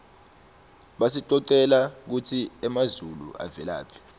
basicocela kutsi emazulu avelaphi